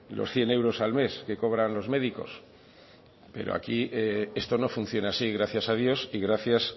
los cien euros al mes que cobran los médicos pero aquí esto no funciona así gracias a dios y gracias